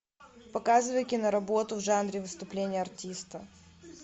показывай киноработу в жанре выступление артиста